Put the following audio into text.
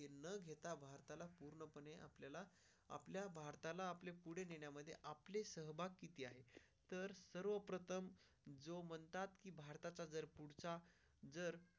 आपल्या भारताला आपल्या पुढे नेण्यामध्ये आपली सहभाग किती आहे तर सर्व प्रथम जो म्हणतात की भारताचं जर पुढचा जर.